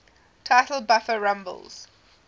title buffer rumbles